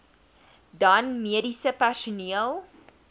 dan mediese personeel